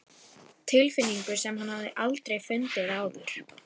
Tilfinningu sem hann hafði aldrei fundið áður.